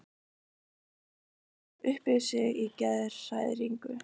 Ó, hrópaði hún upp yfir sig í geðshræringu.